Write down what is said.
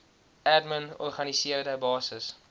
admin organiseerde basis